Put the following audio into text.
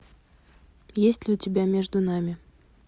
есть ли у тебя между нами